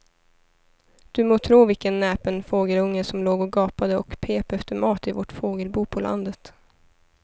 Du må tro vilken näpen fågelunge som låg och gapade och pep efter mat i vårt fågelbo på landet.